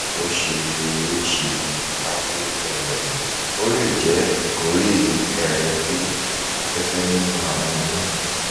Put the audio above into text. ó ṣe é é ṣe kà pé um ó lè jẹ́ ìkórè ẹ̀rẹ̀kè afẹ́fẹ̀ nínú àwọn inú